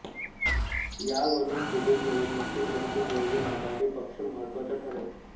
यावरून पुढील निवडणुकीत वंचित बहुजन आघाडी पक्ष महत्वाचा ठरेल